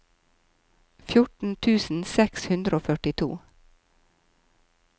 fjorten tusen seks hundre og førtito